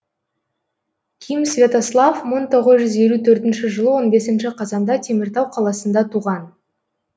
ким святослав мың тоғыз жүз елу төртінші жылы он бесінші қазанда теміртау қаласында туған